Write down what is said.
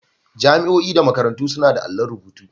Jami'o'i da makarantu suna da allon rubutu.